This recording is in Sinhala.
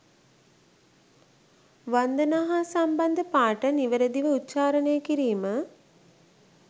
වන්දනා හා සම්බන්ධ පාඨ නිවැරැදිව උච්චාරණය කිරීම